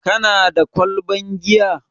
Kana da kwalban giya?